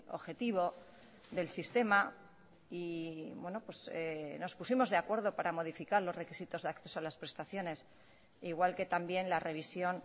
objetivo del sistema y nos pusimos de acuerdo para modificar los requisitos de acceso a las prestaciones igual que también la revisión